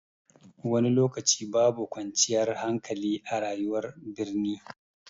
Wani lokaci babu kwanciyar hankali a rayuwar birni.